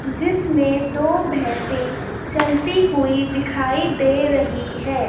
जिसमें दो भैंसे चलती हुई दिखाई दे रही है।